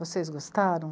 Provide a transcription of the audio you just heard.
Vocês gostaram?